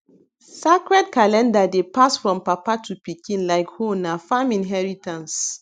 sacred calendar dey pass from papa to pikin like hoena farm inheritance